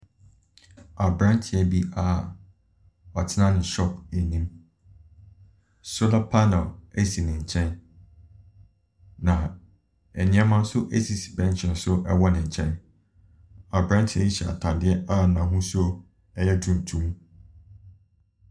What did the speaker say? Aberanteɛ bi a ɔtena ne shop anim, solar panel asi ne nkyɛn. Na nneɛma nso asisi bɛnkye do ɛwɔ ne nkyɛn. Aberanteɛ yi a ɛhyɛ ataadeɛ a n’ahosuo ɛyɛ tuntum.